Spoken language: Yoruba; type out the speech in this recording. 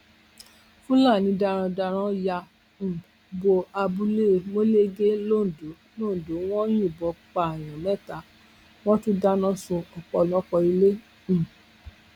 fúlàní darandaran ya um bo abúlé molege londo londo wọn yìnbọn pààyàn mẹta wọn tún dáná sun ọpọlọpọ ilé um